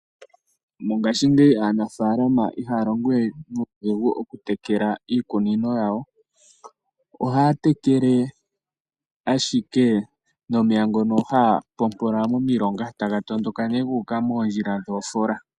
Mongashingeyi aanafaalama ihaya longo we nuudhigu okutekela iikunino yawo, oha ya tekele ashike nomeya ngono ha ya pompola momilonga ta ga tondoka nee ga uka modjila dhoofola.